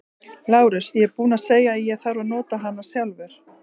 LÁRUS: Ég er búinn að segja að ég þarf að nota hana sjálfur.